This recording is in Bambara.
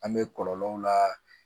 An bɛ kɔlɔlɔw la